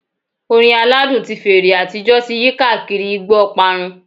Orin aladun ti fèrè atijọ ti yi kaakiri igbo oparun